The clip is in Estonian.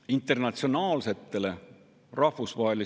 Saalis on kohal olnud opositsioon, koalitsioon on terve öö maganud õiglase und.